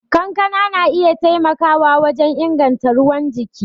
Kankana na iya taimakawa wajen inganta ruwan jiki.